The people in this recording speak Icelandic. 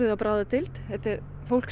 á bráðadeild þetta er fólk